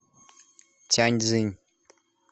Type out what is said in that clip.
тяньцзинь